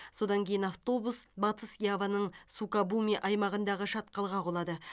содан кейін автобус батыс яваның сукабуми аймағындағы шатқалға құлады